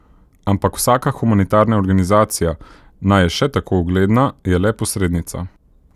Ampak vsaka humanitarna organizacija, naj je še tako ugledna, je le posrednica.